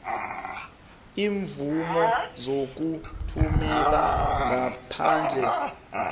iimvumo zokuthumela ngaphandle